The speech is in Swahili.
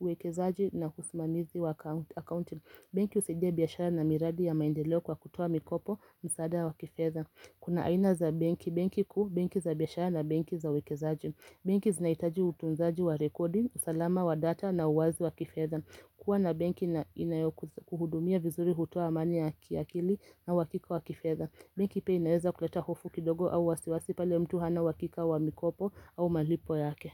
uwekezaji na usimamizi wa akaunti. Banki usidia biyashara na miradi ya maindeleo kwa kutuwa mikopo, msaada wa kifeza. Kuna aina za benki, benki ku, benki za biashara na benki za uwekezaji. Benki zinahitaji utunzaji wa rekodi, usalama wa data na uwazi wa kifedha. Kuwa na benki inayokuhudumia vizuri hutoa amani ya kiakili na uhakika wa kifedha. Benki pua inaweza kuleta hofu kidogo au wasiwasi pale mtu hana uhakika wa mikopo au malipo yake.